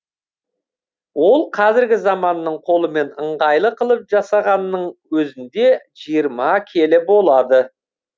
ол қазіргі заманның қолымен ыңғайлы қылып жасағанның өзінде жиырма келі болады